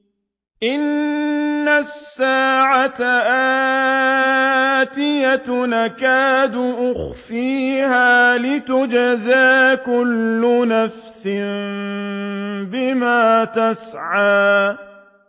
إِنَّ السَّاعَةَ آتِيَةٌ أَكَادُ أُخْفِيهَا لِتُجْزَىٰ كُلُّ نَفْسٍ بِمَا تَسْعَىٰ